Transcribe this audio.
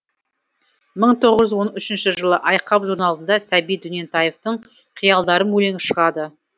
мың тоғыз жүз он үшінші жылы айқап журналында сәбит дөнентаевтың қиялдарым өлеңі шығады